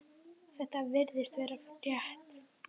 Þetta virðist vera rétt.